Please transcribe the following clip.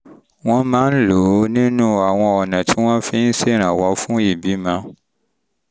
wọ́n máa ń lò ó nínú àwọn ọ̀nà tí wọ́n fi ń ṣèrànwọ́ fún ìbímọ